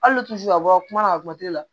Hali ni tufin ka bɔ kuma na a kuma tɛ la